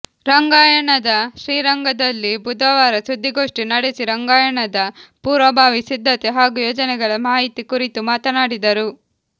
ರಂಗಾಯಣದ ಶ್ರೀರಂಗದಲ್ಲಿ ಬುಧವಾರ ಸುದ್ದಿಗೋಷ್ಠಿ ನಡೆಸಿ ರಂಗಾಯಣದ ಪೂರ್ವಭಾವಿ ಸಿದ್ಧತೆ ಹಾಗೂ ಯೋಜನೆಗಳ ಮಾಹಿತಿ ಕುರಿತು ಮಾತನಾಡಿದರು